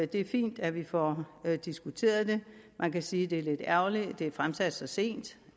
det er fint at vi får diskuteret det man kan sige det er lidt ærgerligt at det er fremsat så sent